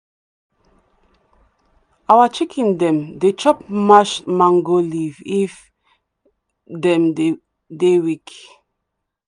our chicken dem dey chop mashed mango leaf if dem dey weak.